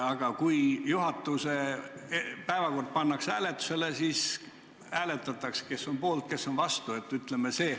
Aga kui juhatuse päevakord pannakse hääletusele, siis hääletatakse, kes on poolt ja kes on vastu.